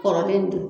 Kɔrɔlen dun